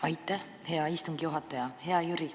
Aitäh, hea istungi juhataja!